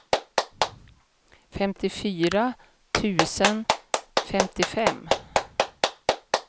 femtiofyra tusen femtiofem